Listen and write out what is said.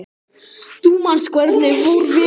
Þú manst hvernig fór fyrir